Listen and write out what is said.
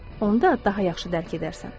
Onda daha yaxşı dərk edərsən.